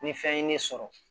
Ni fɛn ye ne sɔrɔ